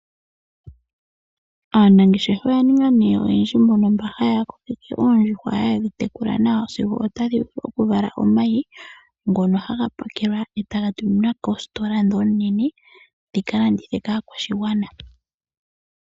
Aanangeshefa oya ninga nee oyendji mbono mba haya kokeke oondjuhwa, haye dhi tekula nawa sigo otadhi vala omayi, ngono haga pakelwa eta ga tuminwa koositola ndhi onene oonene dhi ka landithe kaakwashigwana.